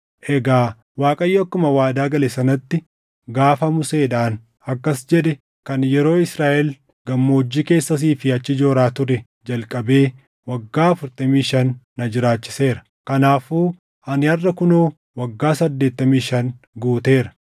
“Egaa Waaqayyo akkuma waadaa gale sanatti, gaafa Museedhaan akkas jedhe kan yeroo Israaʼel gammoojjii keessa asii fi achi jooraa turee jalqabee waggaa afurtamii shan na jiraachiseera. Kanaafuu ani harʼa kunoo waggaa saddeettamii shan guuteera!